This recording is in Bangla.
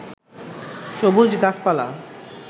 সবুজ গাছপালা